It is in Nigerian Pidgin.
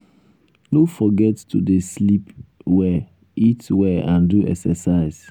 no forget to dey sleep well eat well and do excercise.